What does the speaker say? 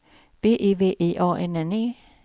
V I V I A N N E